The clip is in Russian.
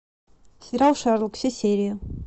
сериал шерлок все серии